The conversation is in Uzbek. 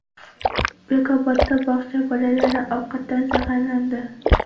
Bekobodda bog‘cha bolalari ovqatdan zaharlandi.